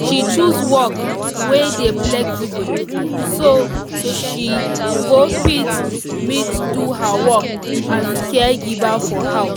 she choose work wey dey flexible so she go fit meet do her work as caregiver for house